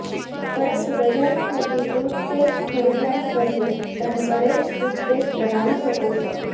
પરંતુ બજારમાં મળતી ટૂથપેસ્ટ ખરીદવાને બદલે તમે ઘરે જ ટૂથપેસ્ટ બનાવી શકો છો